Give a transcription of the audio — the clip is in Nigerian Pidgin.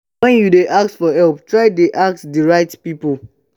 when you de ask for help try de ask the right pipo